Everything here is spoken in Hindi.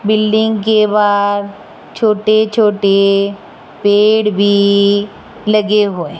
बिल्डिंग के बाहर छोटे छोटे पेड़ भी लगे हुए--